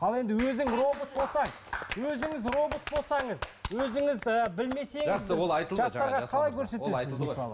ал енді өзің робот болсаң өзіңіз робот болсаңыз өзіңіз і білмесеңіз